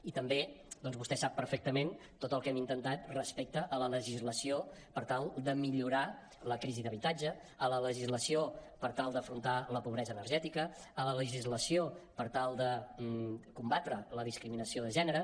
i també vostè sap perfectament tot el que hem intentat respecte a la legislació per tal de millorar la crisi d’habitatge a la legislació per tal d’afrontar la pobresa energètica a la legislació per tal de combatre la discriminació de gènere